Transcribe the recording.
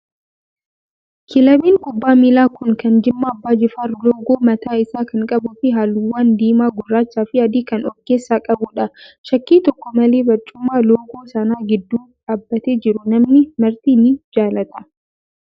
Kilabiin kubbaa miilaa Kun kan Jimma abbaa jifaar loogoo mataa isaa kan qabuu fi halluuwwan diimaa, gurraachaa fi adii kan of keessaa qabudha. Shakkii tokko malee barcuumaa loogoo sana gidduu dhaabbatee jiru namni marti ni jaallata.